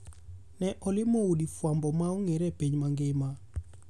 Ne olimo udi fwambo ma ongere e piny mangima.